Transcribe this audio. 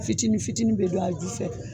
Fitinin fitinin bi don a ju fɛ